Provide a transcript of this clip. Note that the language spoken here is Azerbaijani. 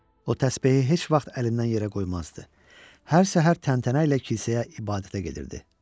O təsbehi heç vaxt əlindən yerə qoymazdı, hər səhər təntənə ilə kilsəyə ibadətə gedirdi.